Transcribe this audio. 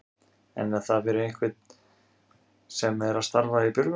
En er það fyrir hvern sem er að starfa í björgunarsveit?